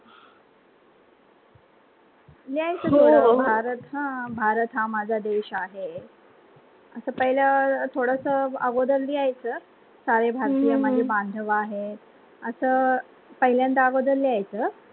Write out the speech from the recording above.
भारत हा माझा देश आहे, आता पहिलं थोडासा अगोदार लिहायच सारे भारतीय माझे मानव आहे, असा पहिलंद अगोदर लिहायच